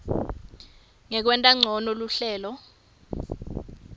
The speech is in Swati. nekwenta ncono luhlelo